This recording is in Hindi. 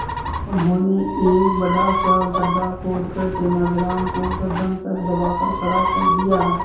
उन्होंने एक बड़ा सा गड्ढा खोदकर तेलानी राम को गर्दन तक दबाकर खड़ा कर दिया